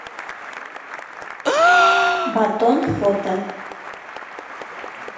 батон фото